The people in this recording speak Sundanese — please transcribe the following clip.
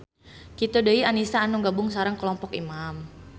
Kitu deui Anisa anu gabung sareng kelompok Imam.